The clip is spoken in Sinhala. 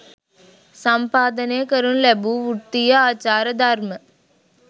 සම්පාදනය කරනු ලැබූ වෘත්තිය ආචාර ධර්ම